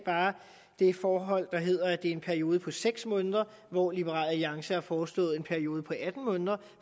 det forhold der hedder at det er en periode på seks måneder hvor liberal alliance har foreslået en periode på atten måneder